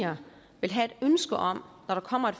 år kommer